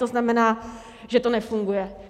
To znamená, že to nefunguje.